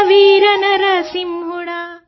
ఓ వీర నరసింహా